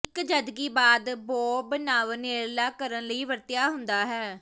ਇੱਕ ਜਦਕਿ ਬਾਅਦ ਬੌਬ ਨਵ ਨੇੜਲਾ ਕਰਨ ਲਈ ਵਰਤਿਆ ਹੁੰਦਾ ਹੈ